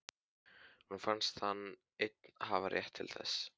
Honum fannst hann einn hafa rétt til þess.